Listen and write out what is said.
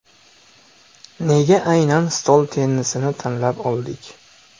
Nega aynan stol tennisini tanlab oldik?